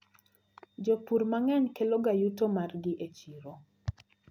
Jopur mang`eny keloga yuto margi e chiro.